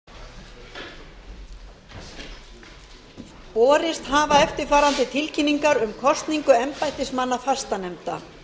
forseti vill geta þess að atkvæðagreiðslur verða þegar að loknum óundirbúnum fyrirspurnum borist hafa eftirfarandi tilkynningar um kosningu embættismanna fastanefnda